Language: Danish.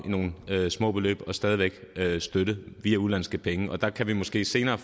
i nogle små beløb og stadig væk støtte via udenlandske penge og der kan vi måske senere